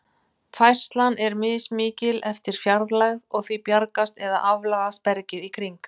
Færslan er mismikil eftir fjarlægð, og því bjagast eða aflagast bergið í kring.